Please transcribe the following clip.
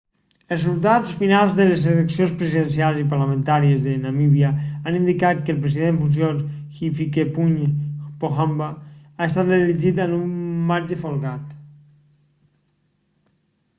els resultats finals de les eleccions presidencials i parlamentàries de namíbia han indicat que el president en funcions hifikepunye pohamba ha estat reelegit amb un marge folgat